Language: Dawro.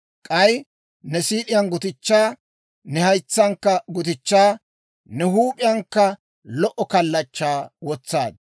K'ay ne siid'iyaan gutichchaa, ne haytsankka gutichchaa, ne huup'iyankka lo"o kallachchaa wotsaad.